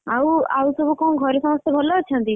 ଆଉ ଆଉ ସବୁ କଣ ଘରେ ସମସ୍ତେ ଭଲ ଅଛନ୍ତି?